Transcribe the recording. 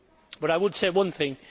But I would say one thing.